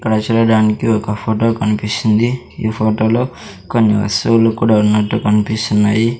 ఇక్కడ చూడడానికి ఒక ఫోటో కనిపిస్తుంది ఈ ఫోటో లో కొన్ని వస్తువులు కూడా ఉన్నట్టు కనిపిస్తున్నాయి.